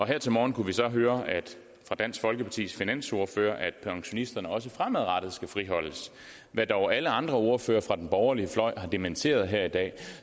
her til morgen kunne vi så høre fra dansk folkepartis finansordfører at pensionisterne også fremadrettet skal friholdes hvad dog alle andre ordførere fra den borgerlige fløj har dementeret her i dag